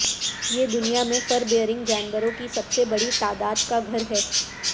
یہ دنیا میں فر بیئرنگ جانوروں کی سب سے بڑی تعداد کا گھر ہے